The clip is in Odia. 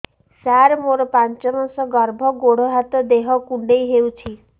ସାର ମୋର ପାଞ୍ଚ ମାସ ଗର୍ଭ ଗୋଡ ହାତ ଦେହ କୁଣ୍ଡେଇ ହେଉଛି